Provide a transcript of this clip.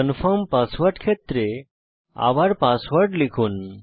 confirm password ক্ষেত্রে আবার password লিখুন